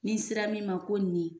N'i sera min ma ko nin